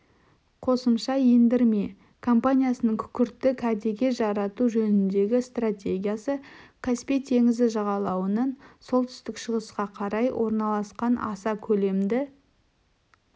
қосымша ендірме компаниясының күкіртті кәдеге жарату жөніндегі стратегиясы каспий теңізі жағалауынан солтүстік-шығысқа қарай орналасқан аса көлемді